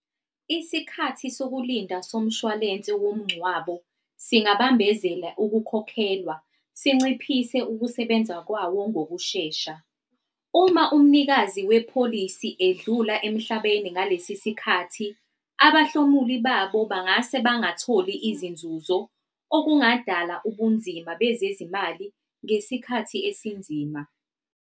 Isikhathi sokulinda somshwalense womngcwabo singabambezela ukukhokhelwa, sinciphise ukusebenza kwawo ngokushesha. Uma umnikazi wepholisi edlula emhlabeni ngalesi sikhathi abahlomuli babo bangase bangatholi izinzuzo, okungadala ubunzima bezezimali ngesikhathi esinzima.